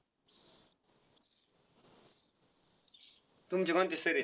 तुमचे कोणते sir आहेत?